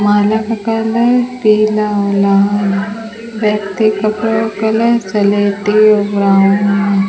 माले का कलर पीला लाल व्यक्ति का कलर सलेटी और ब्राउन है।